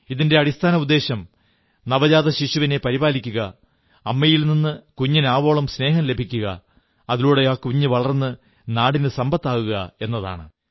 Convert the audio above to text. ഇതിന്റെ അടിസ്ഥാന ഉദ്ദേശ്യം നവജാതശിശുവിനെ പരിപാലിക്കുക അമ്മയിൽ നിന്ന് കുഞ്ഞിന് ആവോളം സ്നേഹം ലഭിക്കുക അതിലൂടെ ആ കുഞ്ഞ് വളർന്ന് നാടിന് സമ്പത്താകുക എന്നതാണ്